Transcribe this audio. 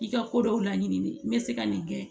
I ka ko dɔw laɲini de bɛ se ka nin kɛ